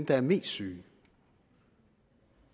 er mest syge